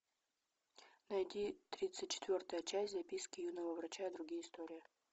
найди тридцать четвертая часть записки юного врача и другие истории